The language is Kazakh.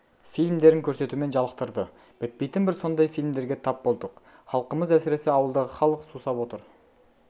фильмдерін көрсетумен жалықтырды бітпейтін бір сондай фильмдерге тап болдық халқымыз әсіресе ауылдағы халық сусап отыр